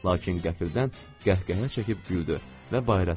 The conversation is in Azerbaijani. Lakin qəfildən qəhqəhə çəkib güldü və bayıra çıxdı.